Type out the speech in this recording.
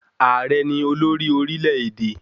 Ààrẹ ni olórí orílẹ̀-èdè.